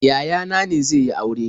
Yaya na ne zai yi aure.